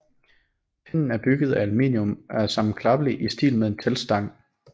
Pinden er bygget af aluminium og er sammenklappelig i stil med en teltstang